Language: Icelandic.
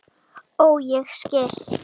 Ó, ég skil!